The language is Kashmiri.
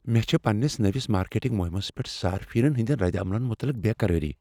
مےٚ چھےٚ پنٛنس نٔوس مارکیٹنگ مہمس پیٹھ صارفینن ہٕنٛدٮ۪ن ردعملن متعلق بےٚ قرٲری۔